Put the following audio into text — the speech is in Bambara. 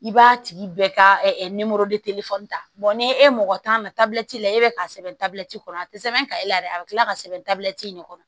I b'a tigi bɛɛ ka ta n'i ye e mɔgɔ t'a na tabi la e bɛ k'a sɛbɛn dabila ci kɔnɔ a tɛ sɛbɛn ka e la dɛ a bɛ tila ka sɛbɛn dabila in de kɔnɔ